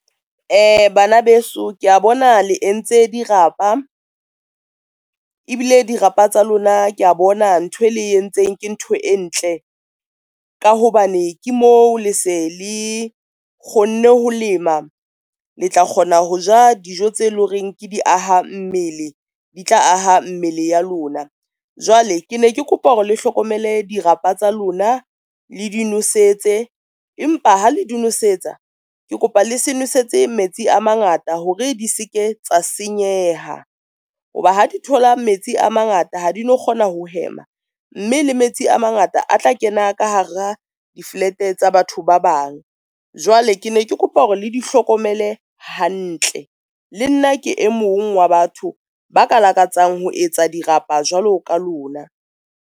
Bana beso, ke a bona le e ntse di rapa ebile, di rapa tsa lona ke a bona ntho e le entseng ke ntho e ntle ka hobane ke moo le se le kgonne ho lema. Le tla kgona ho ja dijo tse leng horeng ke di aha mmele, di tla aha mmele ya lona. Jwale ke ne ke kopa hore le hlokomele di rapa tsa lona le di nosetso, empa ha le di nosetsa, ke kopa le se nosetse metsi a mangata hore di seke tsa senyeha ho ba ha di thola metsi a mangata ha di no kgona ho hema, mme le metsi a mangata a tla kena ka hara di-flat tsa batho ba bang. Jwale ke ne ke kopa hore le di hlokomele hantle. Le nna ke e mong wa batho ba ka lakatsang ho etsa di rapa jwalo ka lona.